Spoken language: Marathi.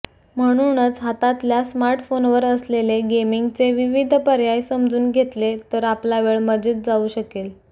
म्हणूनच हातातल्या स्मार्टफोनवर असलेले गेमिंगचे विविध पर्याय समजून घेतले तर आपला वेळ मजेत जाऊ शकेल